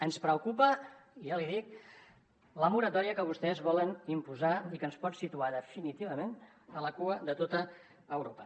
ens preocupa ja l’hi dic la moratòria que vostès volen imposar i que ens pot situar definitivament a la cua de tot europa